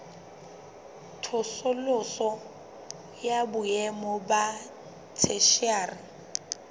tsosoloso ya boemo ba theshiari